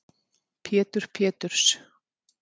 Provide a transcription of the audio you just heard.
Pétur Péturs